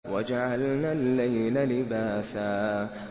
وَجَعَلْنَا اللَّيْلَ لِبَاسًا